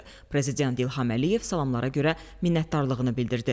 Prezident İlham Əliyev salamlara görə minnətdarlığını bildirdi.